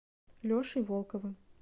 лешей волковым